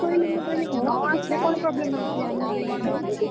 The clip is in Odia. ମୁଁ କହିଲି ମୁଁ କହିଲି ଆସିଲେ କଣ problem ଅଛି ଆମେ ଯାଇକି କହିଦବୁ।